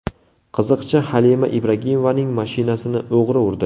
Qiziqchi Halima Ibragimovaning mashinasini o‘g‘ri urdi.